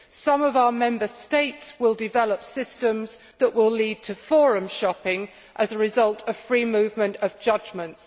some of our Member States will develop systems that will lead to forum shopping as a result of free movement of judgements.